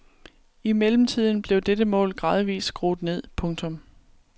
I mellemtiden blev dette mål gradvist skruet ned. punktum